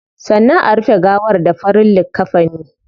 Sannan a rufe gawar da farin likkafini